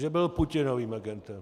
Že byl Putinovým agentem.